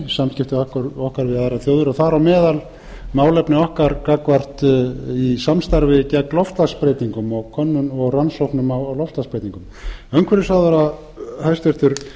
samskipti okkar við aðrar þjóðir og þá m málefni okkar gagnvart samstarfi gegn loftslagsbreytingum og rannsóknum á loftslagsbreytingum umhverfisráðherra hæstvirtur